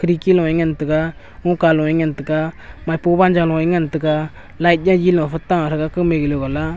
deki loe ngan tega ouka loe ngan tega maipo wanzo loe ngan tega light yayi lofe ta threga kumey galo wala.